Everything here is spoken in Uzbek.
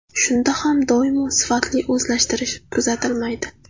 Shunda ham doimo sifatli o‘zlashtirish kuzatilmaydi.